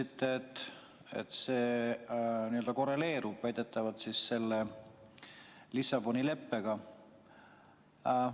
Te ütlesite, et see korreleerub väidetavalt Lissaboni leppega.